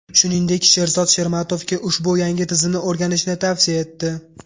Shuningdek, Sherzod Shermatovga ushbu yangi tizimni o‘rganishni tavsiya etdi.